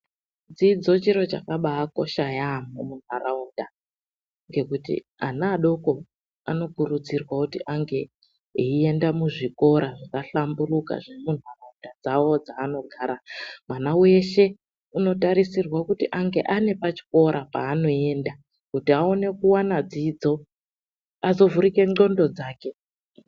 Dzidzo chiro chakabaakosha yaampho muntaraunda. Ngekuti ana adoko anokurudzirwa kuti ange eienda muzvikora zvakahlamburuka, zvemuntaraunda dzavo dzaanogara. Mwana weshe, unotarisirwa kuti ange ane pachikora paanoenda. Kuti aone kuwana dzidzo. Azovhurika ndxondo dzake.